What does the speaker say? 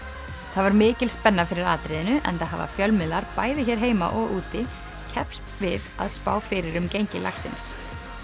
það var mikil spenna fyrir atriðinu enda hafa fjölmiðlar bæði hér heima og úti keppst við að spá fyrir um gengi lagsins